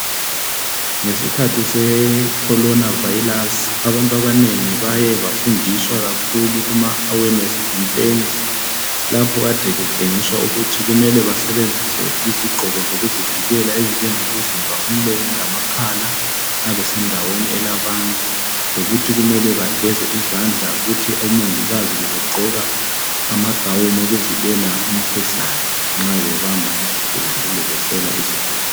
Ngesikhathi secorona vayilasi abantu abanengi bayebefundiswa kuma awenesi khampeni lapho ekade betshengiswa izigqoko zokuzivikela okunjengokuvimba umlomo lamakhala nxa besendaweni elabantu lokuthi kumele begeze izandla kuthi omongilazi bebegqoka amagawuni okuvikela imikhuhlane nxa bebamba izigulani kumbe behlola izigulani